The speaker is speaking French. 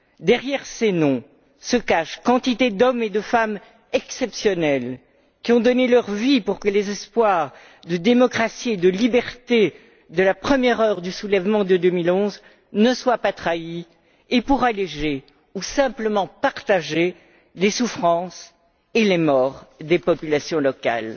Derrière ces noms se cachent quantité d'hommes et de femmes exceptionnels, qui ont donné leur vie pour que les espoirs de démocratie et de liberté de la première heure du soulèvement de 2011 ne soient pas trahis et pour alléger ou simplement partager les souffrances et les morts des populations locales.